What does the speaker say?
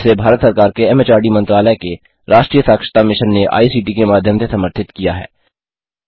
जिसे भारत सरकार के एमएचआरडी मंत्रालय के राष्ट्रीय साक्षरता मिशन ने आई सीटी के माध्यम से समर्थित किया है